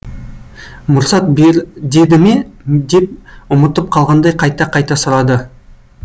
мұрсат бер деді ме деп ұмытып қалғандай қайта қайта сұрады